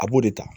A b'o de ta